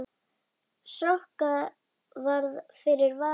Sokka varð fyrir valinu.